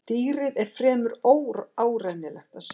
Dýrið er fremur óárennilegt að sjá.